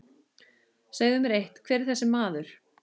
Segðu mér eitt, hver er þessi maður?